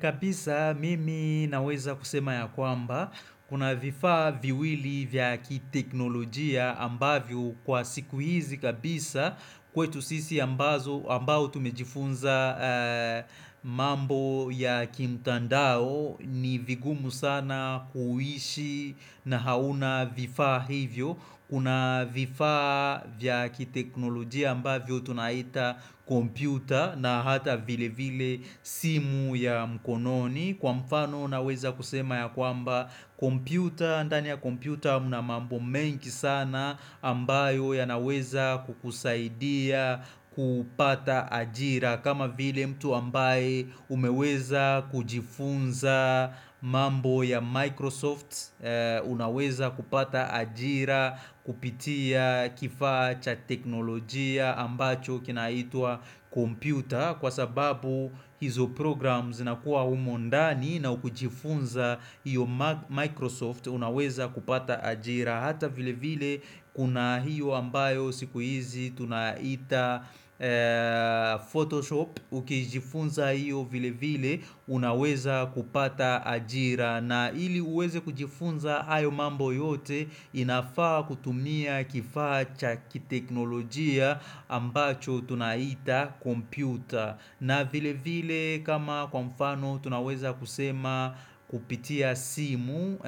Kabisa mimi naweza kusema ya kwamba kuna vifaa viwili vyaki teknolojia ambavyo kwa siku hizi kabisa kwetu sisi ambazo ambao tumejifunza mambo ya kimtandao ni vigumu sana kuishi na hauna vifaa hivyo. Kuna vifaa vyaki teknolojia ambavyo tunaita kompyuta na hata vile vile simu ya mkononi Kwa mfano unaweza kusema ya kwamba kompyuta, ndani ya kompyuta mna mambo mengi sana ambayo ya naweza kukusaidia kupata ajira kama vile mtu ambaye umeweza kujifunza mambo ya Microsoft Unaweza kupata ajira kupitia kifaacha teknolojia ambacho kinaitwa computer Kwa sababu hizo programs na kuwa humondani na kujifunza iyo Microsoft Unaweza kupata ajira Hata vile vile kuna hiyo ambayo siku hizi tunaita Photoshop Ukijifunza hiyo vile vile unaweza kupata ajira na hili uweze kujifunza ayo mambo yote inafaa kutumia kifaacha kiteknolojia ambacho tunaita kompyuta na vile vile kama kwa mfano tunaweza kusema kupitia simu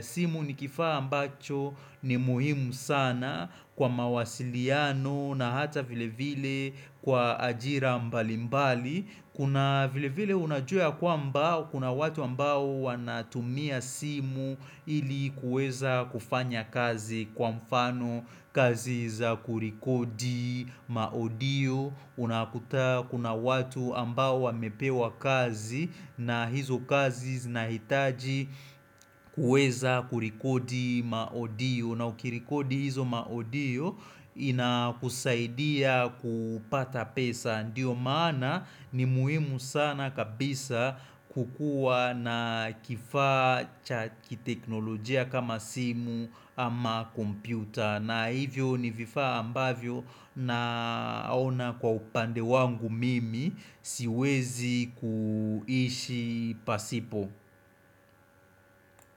simu nikifaa ambacho ni muhimu sana kwa mawasiliano na hata vile vile kwa ajira mbalimbali Kuna vile vile unajua kwa mba, kuna watu ambao wanatumia simu ili kueza kufanya kazi kwa mfano Kaziza kurikodi, maodio, unakuta kuna watu ambao wamepewa kazi na hizo kazi zinahitaji kuweza kurikodi maodio na ukirikodi hizo maodio inakusaidia kupata pesa Ndiyo maana ni muhimu sana kabisa kukuwa na kifaa chakiteknolojia kama simu ama kompyuta na hivyo ni vifaa ambavyo na ona kwa upande wangu mimi siwezi kuishi pasipo.